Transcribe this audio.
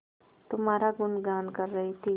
तुम्हारा गुनगान कर रही थी